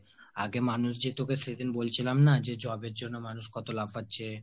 আগে মানুষ যে সেদিন তোকে বলছিলাম না যে job এর জন্য মানুষ কত লাফাচ্ছে ।